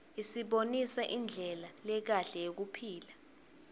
isibonisa indlela lekahle yekuphila